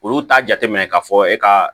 Olu t'a jate minɛ k'a fɔ e ka